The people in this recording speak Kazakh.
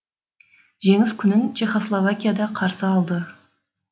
жеңіс күнін чехословакияда қарсы алды